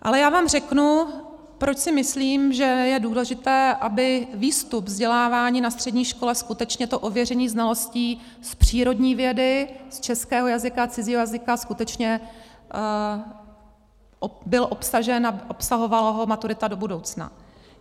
Ale já vám řeknu, proč si myslím, že je důležité, aby výstup vzdělávání na střední škole skutečně to ověření znalostí z přírodní vědy, z českého jazyka, cizího jazyka skutečně byl obsažen a obsahovala ho maturita do budoucna.